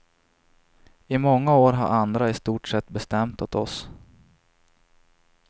I många år har andra i stort sett bestämt åt oss.